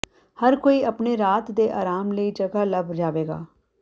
ਹਰ ਕੋਈ ਆਪਣੇ ਰਾਤ ਦੇ ਆਰਾਮ ਲਈ ਜਗ੍ਹਾ ਲੱਭ ਜਾਵੇਗਾ